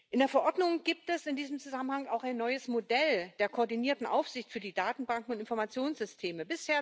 In der Verordnung gibt es in diesem Zusammenhang auch ein neues Modell der koordinierten Aufsicht für die Datenbanken und Informationssysteme.